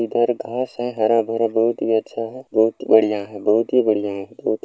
इधर घास है हरा-भरा बहुत ही अच्छा है बहुत बढ़िया है बहुत ही बढ़िया है बहुत ही --